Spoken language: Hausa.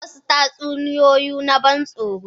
wasu tatsuniyoyi na ban tsoro